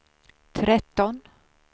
tretton